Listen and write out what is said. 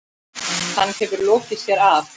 Hann hefur lokið sér af.